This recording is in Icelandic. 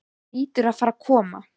Hann hlýtur að fara að koma.